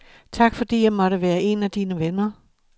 Tak fordi jeg måtte være en af dine venner.